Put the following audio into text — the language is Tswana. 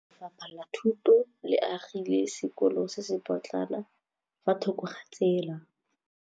Lefapha la Thuto le agile sekôlô se se pôtlana fa thoko ga tsela.